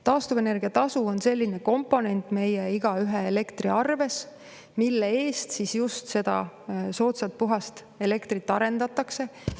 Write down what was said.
Taastuvenergia tasu on selline komponent meist igaühe elektriarves, mille eest just seda soodsat puhast elektrit arendatakse.